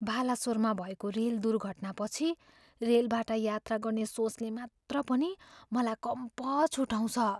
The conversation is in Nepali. बालासोरमा भएको रेल दुर्घटनापछि रेलबाट यात्रा गर्ने सोचले मात्र पनि मलाई कम्प छुटाउँछ।